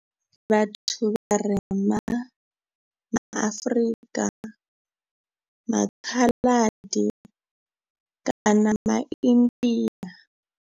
Vhathu vharema ma Afrika, ma Khaladi kana ma India.